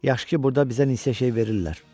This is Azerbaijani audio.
Yaxşı ki, burda bizə insiya şey verirlər.